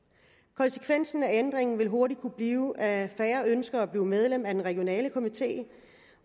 konsekvensen af ændringen vil hurtigt kunne blive at færre ønsker at blive medlem af den regionale komité